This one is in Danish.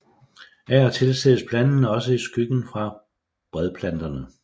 Af og til ses planten også i skyggen fra bredplanterne